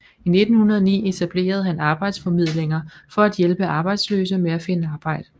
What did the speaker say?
I 1909 etablerede han arbejdsformidlinger for at hjælpe arbejdsløse med at finde arbejde